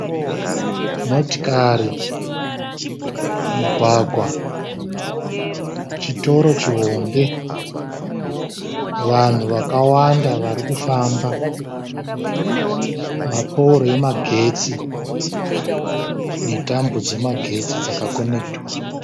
Motikari, mugwagwa, chitoro chihombe, vanhu vakawanda varikufamba ne pouro remagetsi netambo dzemagetsi dzaka konekitwa.